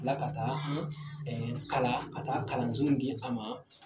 Tilaka taa ɛ kalan ka taa kalanso di a ma